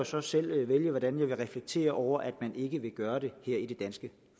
så selv vælge hvordan jeg vil reflektere over at man ikke vil gøre det her i det danske